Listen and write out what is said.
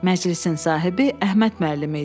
Məclisin sahibi Əhməd müəllim idi.